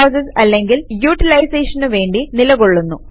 C process അല്ലങ്കിൽ യൂട്ടിലൈസേഷനു വേണ്ടി നിലകൊള്ളുന്നു